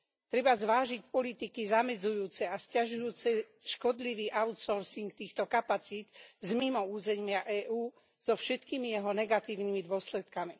Treba zvážiť politiky zamedzujúce a sťažujúce škodlivý outsourcing týchto kapacít z mimo územia EÚ so všetkými jeho negatívnymi dôsledkami.